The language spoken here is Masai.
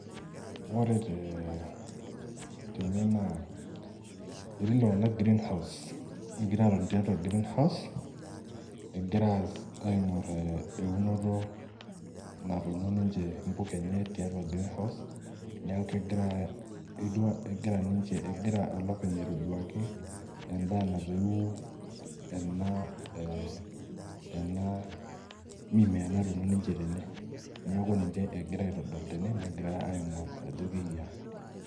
Ore te tene naa etii iltung'anak greenhouse egira atoni tiatua greenhouse egira aas aing'orr eh eunoto natuuno ninche impuka enye tiatua greenhouse niaku kegirae etiwua egira ninche egira olopeny aitoduaki endaa natoiwuo ena eh ena mimea natuuno ninche tene niaku ninche egira aitodolu tene negira aing'orr ajo keyiaa.